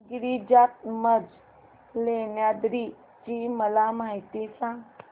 गिरिजात्मज लेण्याद्री ची मला माहिती सांग